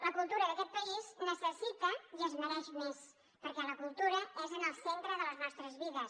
la cultura d’aquest país necessita i es mereix més perquè la cultura és en el centre de les nostres vides